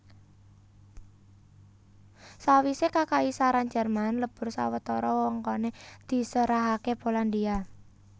Sawisé Kakaisaran Jerman lebur sawetara wewengkoné diserahaké Polandia